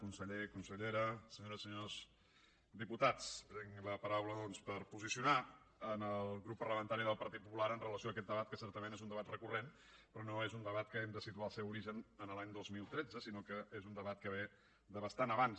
conseller consellera senyores i senyors diputats prenc la paraula doncs per posicionar el grup parlamentari del partit popular amb relació a aquest debat que certament és un debat recurrent però no és un debat de què hem de situar el seu origen en l’any dos mil tretze sinó que és un debat que ve de bastant abans